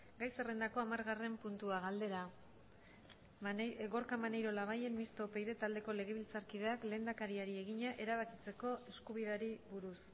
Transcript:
gai zerrendako hamargarren puntua galdera gorka maneiro labayen mistoa upyd taldeko legebiltzarkideak lehendakariari egina erabakitzeko eskubideari buruz